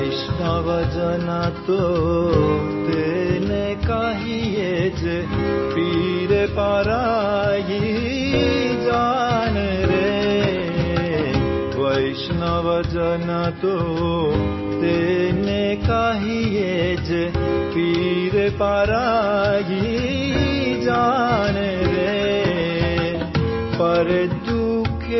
୰୰ ଗୀତ ୰୰